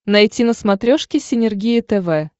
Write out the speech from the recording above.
найти на смотрешке синергия тв